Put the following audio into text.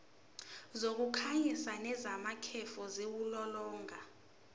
zokukhanyisa nezamakhefu ziwulolonga